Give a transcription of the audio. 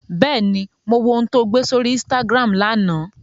Bẹ́ẹ̀ni, mo wo ohun tó gbé sórí Instagram lánàá